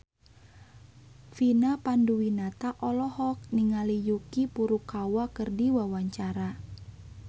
Vina Panduwinata olohok ningali Yuki Furukawa keur diwawancara